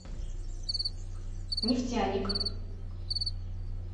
нефтяник